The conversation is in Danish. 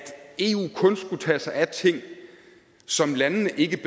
eu kun skulle tage sig af ting som landene ikke